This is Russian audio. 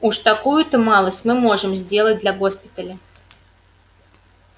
уж такую-то малость мы можем сделать для госпиталя